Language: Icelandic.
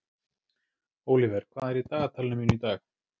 Ólíver, hvað er í dagatalinu mínu í dag?